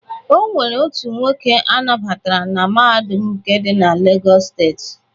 O nwere otu nwoke a nabatara na Mahadum nke dị na Legọs steeti.